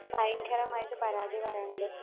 പയങ്കരമായിട്ട് പരാതി പറയണത്